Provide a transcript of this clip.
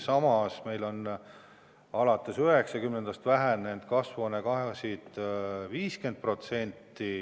Samas meil on alates 1990. aastast kasvuhoonegaasid vähenenud 50%.